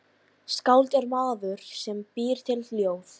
Skáld er maður sem býr til ljóð.